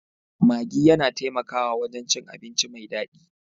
Maggi yana taimakawa wajen cin abinci mai daɗi